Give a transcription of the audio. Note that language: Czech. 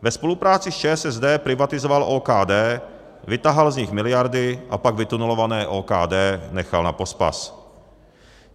Ve spolupráci s ČSSD privatizoval OKD, vytahal z nich miliardy a pak vytunelované OKD nechal na pospas.